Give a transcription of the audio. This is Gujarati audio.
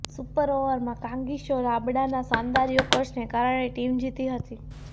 સુપર ઓવરમાં કાગિસો રબાડાના શાનદાર યોર્કરને કારણે ટીમ જીતી હતી